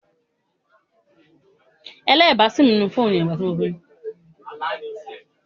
Bọlá ń ta géṣà